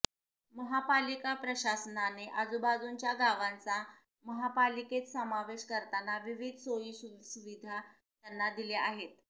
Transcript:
महापालिका प्रशासनाने आजूबाजूंच्या गावांचा महापालिकेत समावेश करताना विविध सोयीसुविधा त्यांना दिल्या आहेत